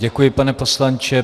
Děkuji, pane poslanče.